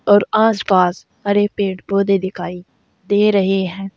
और आसपास हरे पेड़ पौधे दिखाई दे रहे हैं।